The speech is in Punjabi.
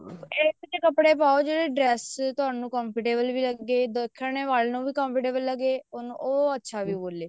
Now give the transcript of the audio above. ਇਹੋ ਜਿਹੇ ਕੱਪੜੇ ਪਾਓ ਜਿਹੜੇ dress ਤੁਹਾਨੂੰ comfortable ਵੀ ਲੱਗੇ ਦੇਖਣ ਵਾਲੇ ਨੂੰ ਵੀ comfortable ਲੱਗੇ ਤੇ ਉਹ ਅੱਛਾ ਵੀ ਬੋਲੇ